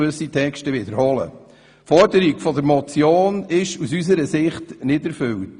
Die Forderung dieser Motion ist aus unserer Sicht nicht erfüllt.